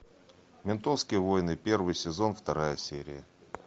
ментовские войны первый сезон вторая серия